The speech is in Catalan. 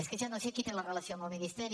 és que ja no sé qui té la relació amb el ministeri